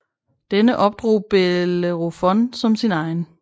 Denne opdrog Bellerofon som sin egen